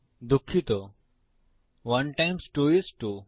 দুঃখিত 1 times 2 is 2